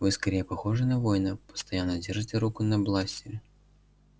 вы скорее похожи на воина постоянно держите руку на бластере